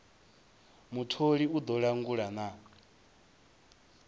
mutholi u ḓo langula na